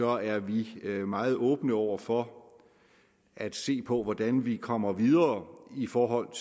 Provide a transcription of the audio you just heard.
er vi meget åbne over for at se på hvordan vi kommer videre i forhold